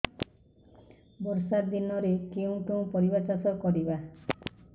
ବର୍ଷା ଦିନରେ କେଉଁ କେଉଁ ପରିବା ଚାଷ କରିବା